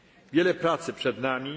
solidarności. Wiele pracy